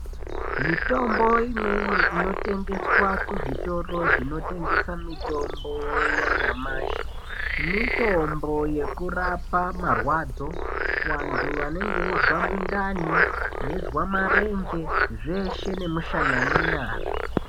Mitombo imweni inotengeswa muzvitora inotengesa mitombo yenyamashi ,mitombo yekurapa marwadzo kuanti banenge bechizwa muntani ,beyizwa marenje, zveshe nemusana nenyara.